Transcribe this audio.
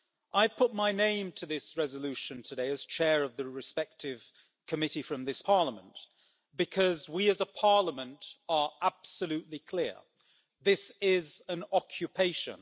I have put my name to this resolution today, as chair of the respective committee from this Parliament, because we as a parliament are absolutely clear this is an occupation.